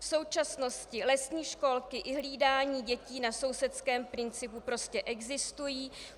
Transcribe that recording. V současnosti lesní školky i hlídání dětí na sousedském principu prostě existují.